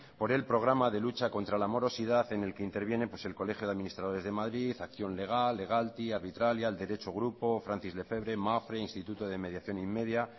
por el programa de lucha contra la morosidad en el que interviene el colegio de administradores de madrid acción legal logalty arbitralia el derecho grupo francis lefebvre mapfre instituto de mediacion inmedia